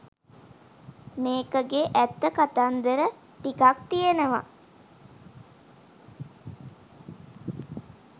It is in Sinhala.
මේකගෙ ඇත්ත කතන්දර ටිකක් තියෙනවා